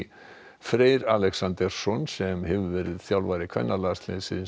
Freyr Alexandersson sem hefur verið þjálfari kvennalandsliðsins